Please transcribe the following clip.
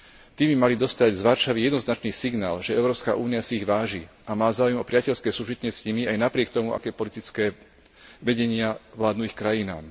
Tí by mali dostať z Varšavy jednoznačný signál, že Európska únia si ich váži a má záujem o priateľské súžitie s nimi aj napriek tomu, aké politické vedenia vládnu ich krajinám.